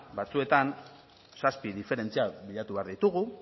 batzuetan zazpi diferentziak bilatu behar ditugu